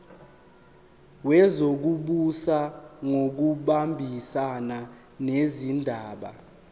wezokubusa ngokubambisana nezindaba